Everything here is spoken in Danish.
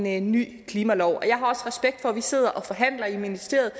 i en ny klimalov jeg har også respekt for at vi sidder og forhandler i ministeriet